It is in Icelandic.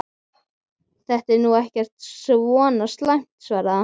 Þetta er nú ekki svo slæmt sagði hann.